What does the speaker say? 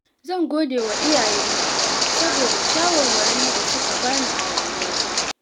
Zan gode wa iyayena saboda shawarwarin da suka bani a rayuwata.